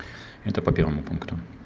это по первому пункту